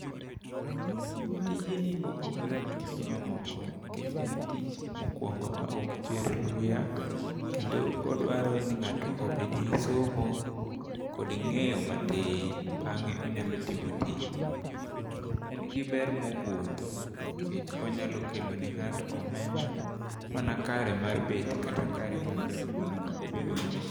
Tijni opogore gi tije mamoko nikech en tich mokuongo maok chwer luya, kendo odwaro ni ng'ato obed gi somo, kod ng'eyo matin, bang'e onyalo timo tijni. En gi ber mogindho nikech onyalo kelo ni ngato omenda, mana kare mar bet kata kare mar jot mana kaok obedo gi.